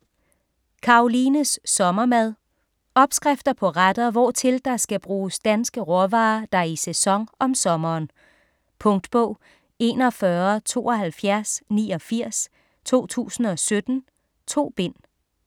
Karolines sommermad Opskrifter på retter hvortil der skal bruges danske råvarer der er i sæson om sommeren. Punktbog 417289 2017. 2 bind.